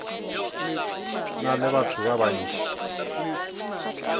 na le batho ba bantši